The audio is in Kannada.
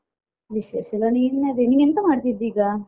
ವಿಶೇಷಯೆಲ್ಲ ನಿನ್ನದೇ ನಿನ್ ಎಂತ ಮಾಡ್ತಿದ್ದಿ ಈಗ?